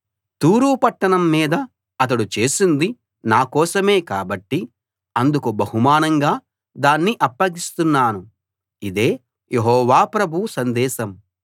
తూరు పట్టణం మీద అతడు చేసింది నా కోసమే కాబట్టి అందుకు బహుమానంగా దాన్ని అప్పగిస్తున్నాను ఇదే యెహోవా ప్రభువు సందేశం